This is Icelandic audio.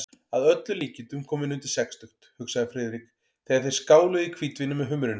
Að öllum líkindum kominn undir sextugt, hugsaði Friðrik, þegar þeir skáluðu í hvítvíni með humrinum.